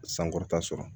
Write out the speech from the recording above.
Sankɔrɔta sɔrɔ